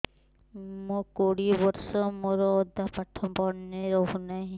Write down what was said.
ମୋ କୋଡ଼ିଏ ବର୍ଷ ମୋର ଅଧା ପାଠ ମନେ ରହୁନାହିଁ